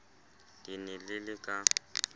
le ne le le ka